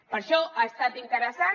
per això ha estat interessant